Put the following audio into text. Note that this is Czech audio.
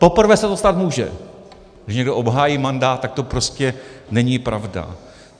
Poprvé se to stát může, že někdo obhájí mandát, tak to prostě není pravda.